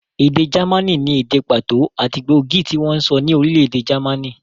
Èdè jámànì ni èdè pàtó àti gbóògì tí wọ́n ń sọ ní orílẹ̀-èdè jámànì.